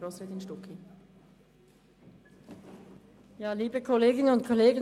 Grossrätin Stucki hat das Wort.